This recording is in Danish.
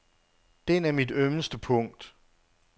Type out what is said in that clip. Den er mit ømmeste punkt.